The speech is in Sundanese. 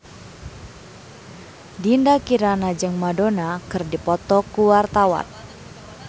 Dinda Kirana jeung Madonna keur dipoto ku wartawan